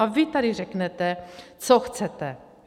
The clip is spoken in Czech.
A vy tady řeknete, co chcete.